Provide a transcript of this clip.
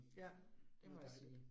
Ja, det var dejligt